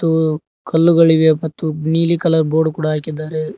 ಉ ಕಲ್ಲುಗಳಿವೆ ಮತ್ತು ನೀಲಿ ಕಲರ್ ಬೋರ್ಡ್ ಕೂಡ ಹಾಕಿದ್ದಾರೆ.